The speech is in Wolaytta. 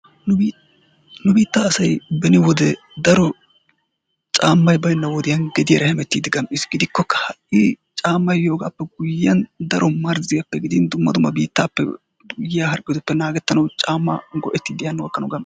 Nu biittaa asay beni wode daro caammay baynna wodiyan gediyaara hemmettidi gam'iis. Gidikkokka ha'i caammay yoogaappe guyiyan daro marzziyappe gidin dumma dumma biittaappe yiaa harggetuppe naagetanawu caammaa go"ettidi hano gakkanawu gam..